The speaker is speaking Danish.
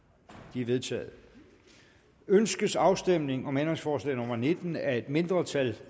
de er vedtaget ønskes afstemning om ændringsforslag nummer nitten af et mindretal